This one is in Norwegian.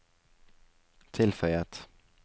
tilføyet